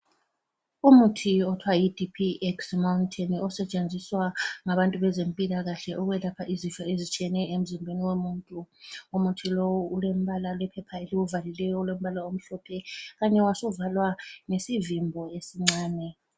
Umuntu othiwa yiDPX mountant osetshenziswa ngabantu bezempilakahle ukwelapha izifo ezitshiyeneyo emzimbeni womuntu. Umuthi lo ulembala, ulephepha eliwuvalileyo olombala omhlophe khanya wasuvalwa ngesivimbo esincane.